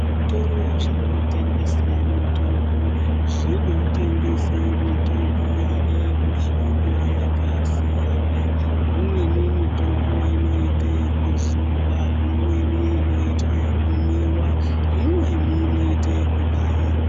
Zvitoro zvinotengese mitombo zvinotengese mitombo inemuhlobo yakasiyana imweni mitombo inoitwe kuzorwa imweni inoitwe kumwiwa imweni inoitwe kubairwa.